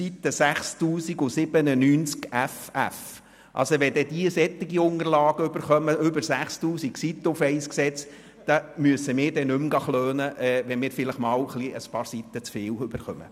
» Wenn man dort solche Unterlagen mit über 6000 Seiten für ein einziges Gesetz erhält, dann müssen wir uns nicht mehr beklagen, wenn wir vielleicht einmal ein paar Seiten zu viel bekommen.